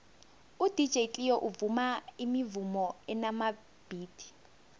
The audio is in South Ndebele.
udj cleo uvuma imivumo enamabhithi